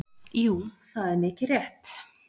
Jú það er mikið rétt.